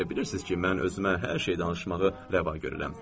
Bilirsiniz ki, mən özümə hər şey danışmağı rəva görürəm.